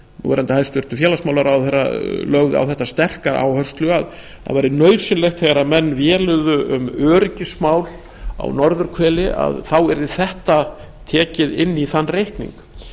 núverandi hæstvirtan félagsmálaráðherra lögðu á þetta sterka áherslu að nauðsynlegt væri þegar menn véluðu um öryggismál á norðurhveli að þetta yrði tekið inn í þann reikning